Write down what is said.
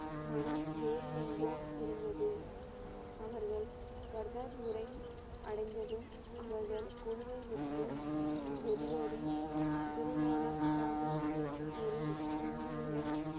மனம் வேறு எங்கோ இருந்தது. அவர்கள் கார்தாபூரை அடைந்ததும் அவர்கள் குழுவை விட்டு வெளியேறி குரு நானக் சாகிப் ஒரு ஹிந்தியிலும்